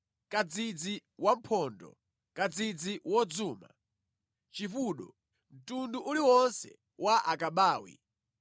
kadzidzi wamphondo, kadzidzi wodzuma, chipudo, mtundu uliwonse wa akabawi,